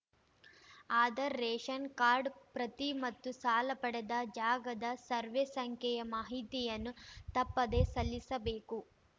Aadhaar ration card ಪ್ರತಿ ಮತ್ತು ಸಾಲ ಪಡೆದ ಜಾಗದ ಸರ್ವೆ ಸಂಖ್ಯೆಯ ಮಾಹಿತಿಯನ್ನು ತಪ್ಪದೇ ಸಲ್ಲಿಸಬೇಕು